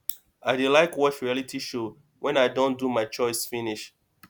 i dey like watch reality show wen i don do my chores finish